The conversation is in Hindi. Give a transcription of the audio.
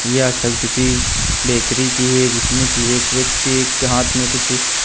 यह छवि किसी बेकरी की है जिसमें कि एक व्यक्ति एक हाथ में कुछ--